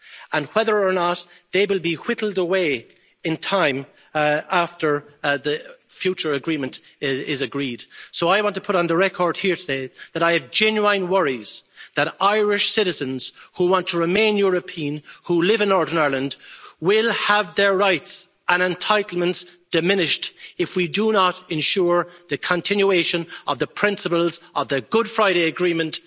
and whether or not they will be whittled away in time after the future agreement is agreed. So I want to put on the record here, today, that I have genuine worries that Irish citizens who want to remain European, who live in Northern Ireland, will have their rights and entitlements diminished if we do not ensure the continuation of the principles of the Good Friday Agreement